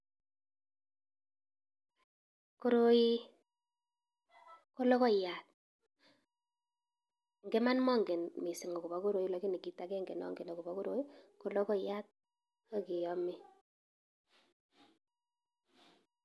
Koroi ko logoiyat ,en iman mongen missing akobo koroi lakini ongen ole kiome .